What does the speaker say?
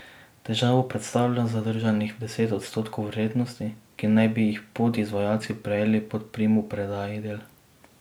Težavo predstavlja zadržanih deset odstotkov vrednosti, ki naj bi jih podizvajalci prejeli po primopredaji del.